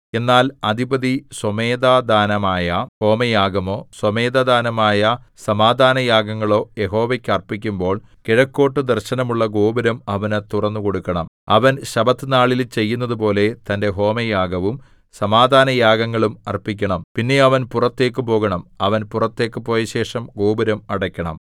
എന്നാൽ അധിപതി സ്വമേധാദാനമായ ഹോമയാഗമോ സ്വമേധാദാനമായ സമാധാനയാഗങ്ങളോ യഹോവയ്ക്ക് അർപ്പിക്കുമ്പോൾ കിഴക്കോട്ടു ദർശനമുള്ള ഗോപുരം അവനു തുറന്നുകൊടുക്കണം അവൻ ശബ്ബത്തുനാളിൽ ചെയ്യുന്നതുപോലെ തന്റെ ഹോമയാഗവും സമാധാനയാഗങ്ങളും അർപ്പിക്കണം പിന്നെ അവൻ പുറത്തേക്ക് പോകണം അവൻ പുറത്തേക്ക് പോയശേഷം ഗോപുരം അടയ്ക്കണം